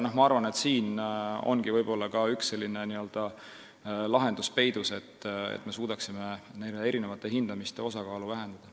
Ma arvan, et siin ongi võib-olla peidus üks lahendus, kuidas erinevate hindamiste osakaalu vähendada.